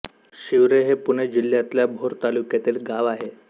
शिवरे हे पुणे जिल्ह्यातल्या भोर तालुक्यातील गाव आहे